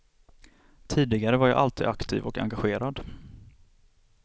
Tidigare var jag alltid aktiv och engagerad.